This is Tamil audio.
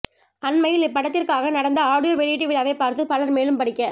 அண்மையில் இப்படத்திற்காக நடந்த ஆடியோ வெளியீட்டு விழாவை பார்த்து பலர் மேலும் படிக்க